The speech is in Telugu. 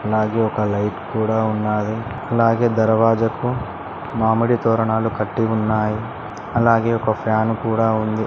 అలాగే ఒక లైట్ కూడా ఉన్నాది అలాగే దర్వాజకు మామిడి తోరణాలు కట్టి ఉన్నాయి అలాగే ఒక ఫ్యాన్ కూడా ఉంది.